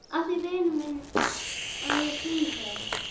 Af því vinur minn að ég bý hér.